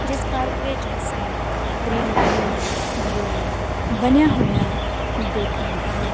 ਜਿਸ ਪਾਰਕ ਵਿੱਚ ਅਸੀਂ ਗਰੀਨ ਗਰੀਨ ਵਿਊ ਬਣਿਆ ਹੋਇਆ ਦੇਖ ਰਹੇ ਹਾਂ।